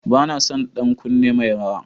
Banason ɗan kunne mai rawa.